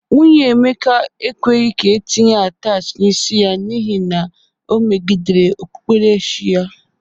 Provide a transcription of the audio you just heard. Nwunye Emeka ekweghi ka etinye atachị n'isi ya n'ihi na o megidere okpukperechi ya.